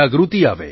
જાગૃતિ આવે